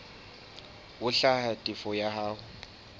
ho hlwaya tefo ya hao